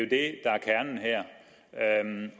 der er kernen